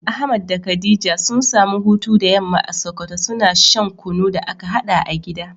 Ahmad da khadija sun samu hutu da yamma a sokoto, suna shan kunu da aka haɗa a gida.